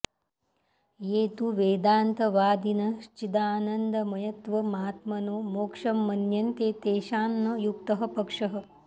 ये तु वेदान्तवादिनश्चिदानन्दमयत्वमात्मनो मोक्षं मन्यन्ते तेषां न युक्तः पक्षः